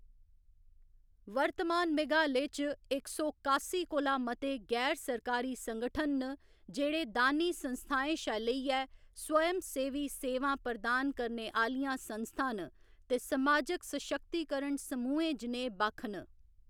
वर्तमान मेघालय च इक सौ कास्सी कोला मते गैर सरकारी संगठन न जेह्‌‌ड़े दानी संस्थाएं शा लेइयै स्वयंसेवी सेवां प्रदान करने आह्‌‌‌लियां संस्थां न ते समाजिक सशक्तिकरण समूहें जनेह् बक्ख न।